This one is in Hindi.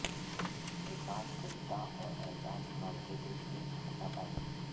विकास गुप्ता और एजाज़ खान के बीच हुई हाथापाई